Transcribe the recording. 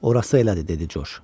Orası elədi, dedi Corc.